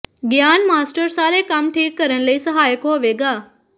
ਗਿਆਨ ਮਾਸਟਰ ਸਾਰੇ ਕੰਮ ਠੀਕ ਕਰਨ ਲਈ ਸਹਾਇਕ ਹੋਵੇਗਾ